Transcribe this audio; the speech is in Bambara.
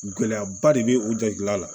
Gɛlɛyaba de bɛ u jabila la